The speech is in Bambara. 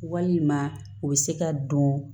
Walima u bɛ se ka don